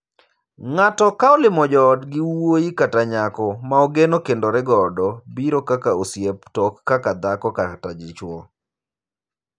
Ng'ato ka olimo joodgi wuoyi kata nyako ma ogeno kendore godo biro kaka osiep to ok kaka dhako kata dichwo.